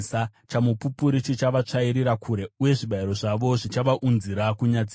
Chamupupuri chichavatsvairira kure, uye zvibayiro zvavo zvichavaunzira kunyadziswa.